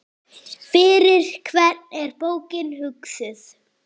Fyrir hvern er bókin hugsuð?